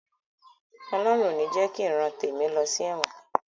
Ọlọhun ò ní jẹ ki ìran tèmi lọ sí ẹ̀wọ̀n